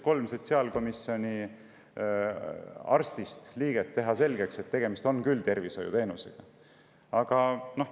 Kolm sotsiaalkomisjoni arstist liiget üritasid mulle selgeks teha, et tegemist on ikkagi tervishoiuteenusega.